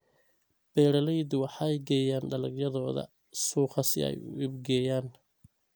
Beeraleydu waxay geeyaan dalagyadooda suuqa si ay u iibgeeyaan.